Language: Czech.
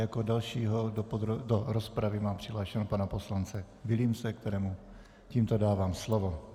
Jako dalšího do rozpravy mám přihlášeného pana poslance Vilímce, kterému tímto dávám slovo.